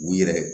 U yɛrɛ